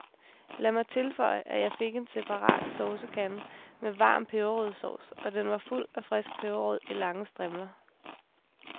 Lad mig tilføje, at jeg fik en separat saucekande med varm peberrodssovs, og den var fuld af frisk peberrod i lange strimler.